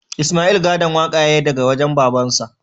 Isma'il gadon waƙa ya yi daga wajen babansa